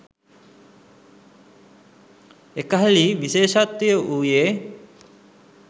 එකල්හි විශේෂත්වය වූයේ